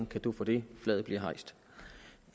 cadeau for det flaget bliver hejst